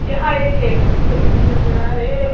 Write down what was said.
यहां एक लैट्रिन खुली नजर आ रहे--